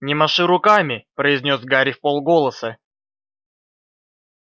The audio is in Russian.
не маши руками произнёс гарри вполголоса